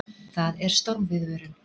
Það er stormviðvörun.